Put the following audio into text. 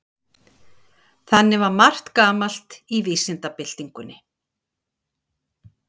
þannig var margt gamalt í vísindabyltingunni